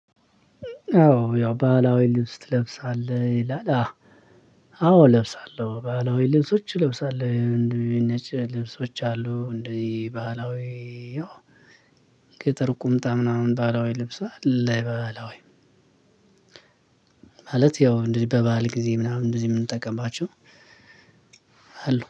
አዎ ያው ባህላዊ ልብስ ትለብሳለህ ይላል? አዎ እለብሳለሁ ባህላዊ ልብሶች እለብሳለሁ እንደዚህ ነጭ ልብሶች አሉ። እንደዚህ ባህላዊ ያው አጭር ቁምጣ ምናምን ባህላዊ ልብስ አለ ባህላዊ። ማለት ያው እንደዚህ በባዕል ጊዜ ምናምን እንደዚህ የምንጠቀምባቸው